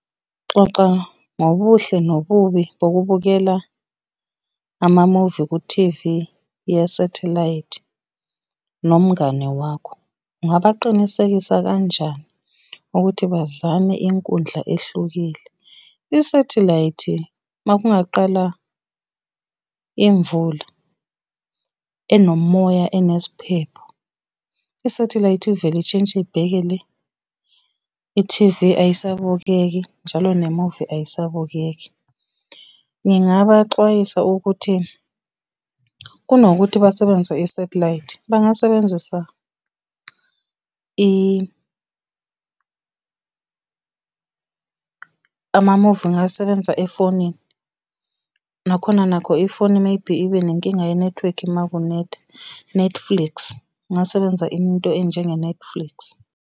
Xoxa ngobuhle nobubi bokubukela amamuvi ku-T_V yesathelayithi nomngane wakho. Ungabaqinisekisa kanjani ukuthi bazame inkundla ehlukile? Isathelayithi, uma kungaqala imvula enomoya, eneziphepho, isathelayithi ivele ishintshe ibheke le, i-T_V ayisabukeki, njalo nemuvi ayisabukeki. Ngingabaxwayisa ukuthi, kunokuthi basebenzise isathelayithi, bangasebenzisa amamuvi ngingawasebenzisa efonini, nakhona nakho ifoni maybe ibe nenkinga yenethiwekhi uma kunetha. Netflix, kungasebenza into enjenge Netflix.